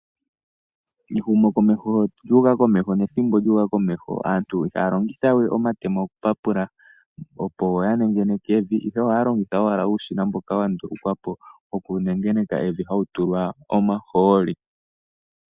Ehumokomeho sho lyuuka komeho nethimbo sho lyuuka komeho aantu ihaya longithawe omatemo okupapula opo ya nengeneke evi, ihe ohaya longitha owala uushina mboka wa ndulukwa po woku nengeneka hawu tulwa omahooli.